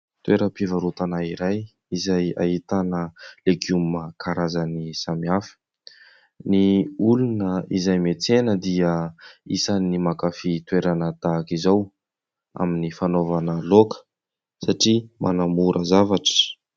Toera-pivarotana iray, izay ahitana legioma karazany samihafa, ny olona izay metsena dia isany ny mankafy toerana tahak'izao amin'ny fanaovana loaka satria manamora zavatra